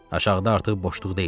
Aşağıda artıq boşluq deyildi.